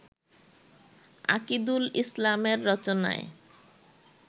আকিদুল ইসলামের রচনায়